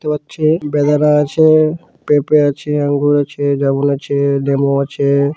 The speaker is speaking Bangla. দেখতে পাচ্ছি বেদনা আছে -পেঁপে আছে আঙ্গুর আছে জামরুল আছে লেবু আছে ।